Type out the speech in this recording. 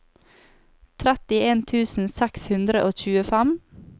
trettien tusen seks hundre og tjuefem